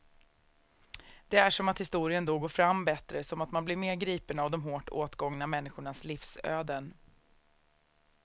Det är som att historien då går fram bättre, som att man blir mer gripen av de hårt åtgångna människornas livsöden.